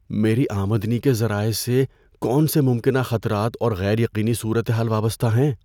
میری آمدنی کے ذرائع سے کون سے ممکنہ خطرات اور غیر یقینی صورتحال وابستہ ہیں؟